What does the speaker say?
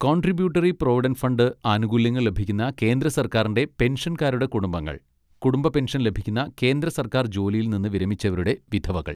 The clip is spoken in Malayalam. കോൺട്രിബ്യൂട്ടറി പ്രൊവിഡൻറ്റ് ഫണ്ട് ആനുകൂല്യങ്ങൾ ലഭിക്കുന്ന കേന്ദ്ര സർക്കാരിൻ്റെ പെൻഷൻകാരുടെ കുടുംബങ്ങൾ കുടുംബ പെൻഷൻ ലഭിക്കുന്ന കേന്ദ്ര സർക്കാർ ജോലിയിൽ നിന്ന് വിരമിച്ചവരുടെ വിധവകൾ.